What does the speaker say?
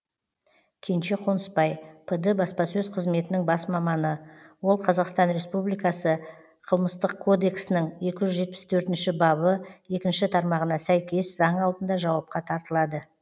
кенже қонысбай пд баспасөз қызметінің бас маманы ол қазақстан республикасы қылмыстық кодексінің екі жүз жетпіс төртінші бабы екінші тармағына сәйкес заң алдында жауапқа тартылады